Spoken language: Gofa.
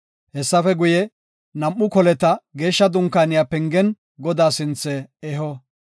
Hessafe guye, nam7u koleta Geeshsha Dunkaaniya pengen Godaa sinthe eho.